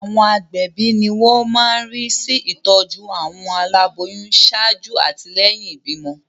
Àwọn agbẹ̀bí ni wọ́n máa ń rí sí ìtọ́jú àwọn aláboyún ṣáájú àti lẹ́yìn ìbímọ.